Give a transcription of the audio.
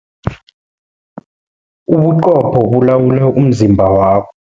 Ubuqopho bulawula umzimba wa